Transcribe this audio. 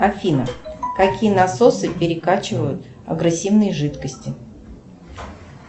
афина какие насосы перекачивают агрессивные жидкости